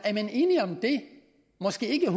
enige om det måske ikke